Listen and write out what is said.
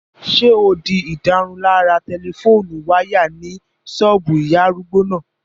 Ṣé o di ìdárunlárà tẹlifóònù wáyà ní ṣọ́ọ̀bù ìyá arúgbó náà?